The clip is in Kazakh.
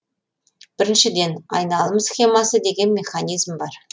біріншіден айналым схемасы деген механизм бар